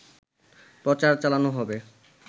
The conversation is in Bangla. প্রচার চালানো হবে